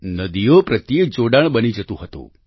નદીઓ પ્રત્યે જોડાણ બની જતું હતું